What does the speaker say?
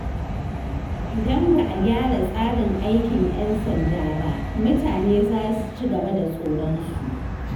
Idan ba a gyara tsarin aikin ‘yan sanda ba, mutane za su ci gaba da tsoronsu.